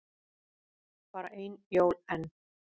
Bara ein jól enn.